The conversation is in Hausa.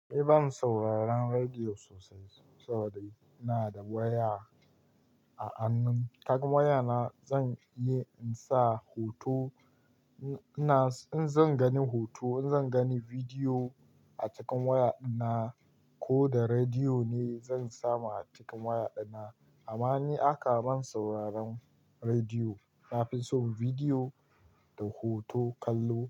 Ni ban sauraron rediyo sosai saboda ina da waya a hannun. Ta waya na zan iya insa hoto. Ina, in zan gani hoto, in zan gani bidiyo a cikin waya dina ko da rediyo ne zan samu a cikin waya dina. Amma ni aka ban sauraron rediyo. Na fi son bidiyo da hoto kallo.